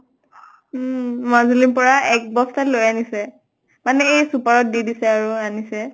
উম মাজুলীৰ পৰা এক বস্তা লৈ আনিছে। মানে এই super ত দি দিছে আৰু আনিছে।